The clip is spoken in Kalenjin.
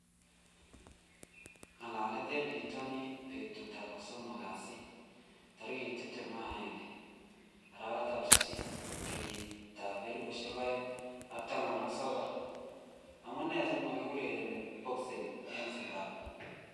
Ng'alalet eng bitonin betutab kosomok kasi tarik tiptem ak agenge, arawetab sisit, kenyitab elebu oeng ak taman ak sokol:Amunee si makiurereni boxing eng Zanzibar?